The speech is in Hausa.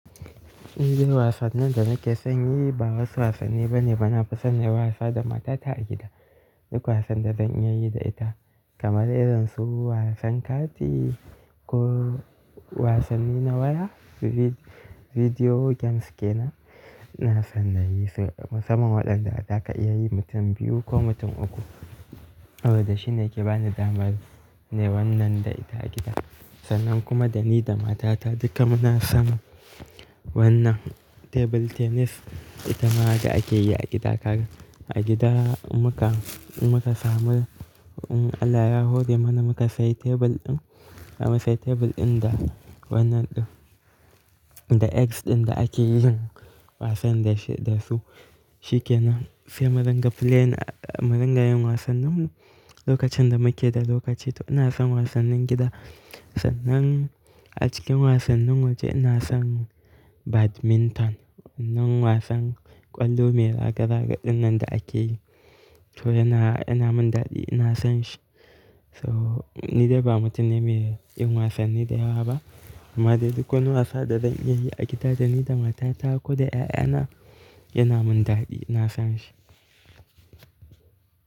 Nodai wasanni da nake son yi ba wasu wasanni bane bana nafisonyi wasa da matata a gida. Duk wasan da zan iya yi da ita kamar irin su wasan kati ko wasanni na waya video games kenan. Na san na yi su sama waɗanda zaka iya yi mutum biyu ko mutum uku. Abada shine yake bani damar ne wannan da ita a gida. Sannan kuma da ni da matata duka muna son wannan table tennis. Ita ma haka ake yi a gida. Kada a gida muka, muka samu allahb yahore mana muka sayi tebur ɗin. Zamu sai tebur ɗin da wannan da eggs ɗin da ake yin wasan da shi da su shikenan. Say muringa playin muringa yin wasan. Nan lokacin da muke da lokaci to ina son wasannin gida. Sannan a cikin wasannin waje ina son badminton. Wannan wasan ƙwallo mai ragargadin nan da ake yi to yana, yana min daɗi ina son shi. So ni dai ba mutum ne mai yin wasanni da yawa ba. Amma dai duk wani wasa da zan iya yi a gida da ni da matata ko da 'ya'yana yana min daɗi ina son shi.